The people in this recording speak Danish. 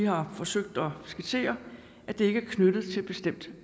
har forsøgt at skitsere er ikke knyttet til bestemt